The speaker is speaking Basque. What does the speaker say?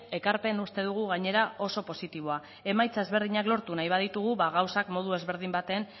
ekarpen uste dugu gainera oso positiboa emaitza ezberdinak lortu nahi baditugu gauzak modu ezberdin batean